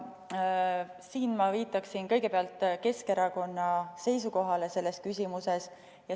Ja siin ma viitaksin kõigepealt Keskerakonna seisukohale selles küsimuses.